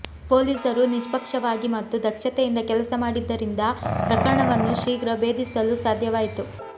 ಪೊಲೀಸರು ನಿಷ್ಪಕ್ಷವಾಗಿ ಮತ್ತು ದಕ್ಷತೆಯಿಂದ ಕೆಲಸ ಮಾಡಿದ್ದರಿಂದ ಪ್ರಕರಣವನ್ನು ಶೀಘ್ರ ಭೇದಿಸಲು ಸಾಧ್ಯವಾಯಿತು